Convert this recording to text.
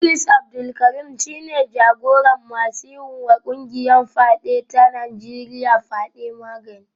Idris Abdul Karim shi ne jagoran masu yiwa kungiyar fyade ta Najeriya fyade; Magani